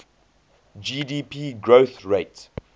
gdp growth rate